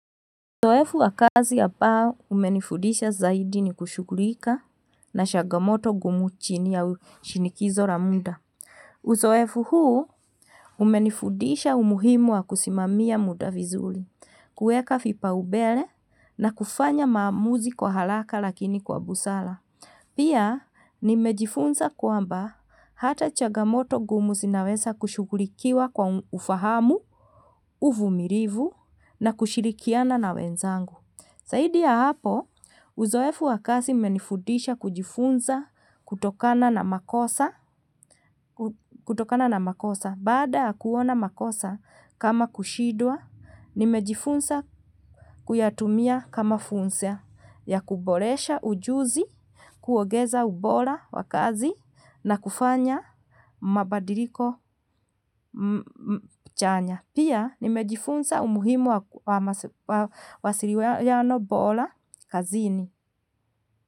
Uzoefu wa kazi ambao, umenifudisha zaidi ni kushughulika na changamoto ngumu chini ya shinikizo la muda. Uzoefu huu, umenifudisha umuhimu wa kusimamia muda vizuri kuweka vipaumbelea na kufanya maamuzi kuharaka lakini kwa busara Pia nimejifunza kwamba hata chagamoto ngumu zinaweza kushughulikiwa kwa ufahamu, uvumilivu na kushirikiana na wenzangu. Zaidi ya hapo, uzoefu wa kazi umenifunza kujifunza kutokana na makosa. Baada kuona makosa kama kushidwa, nimejifunza kuyatumia kama funzo ya kuboresha ujuzi, kuongeza ubora wa kazi na kufanya mabadiliko chanya. Pia nimejifunza umuhimu wa mawasiliwano bora kazini.